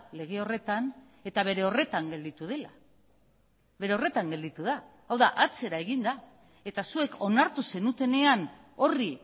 lege horretan eta bere horretan gelditu dela bere horretan gelditu da hau da atzera egin da eta zuek onartu zenutenean horri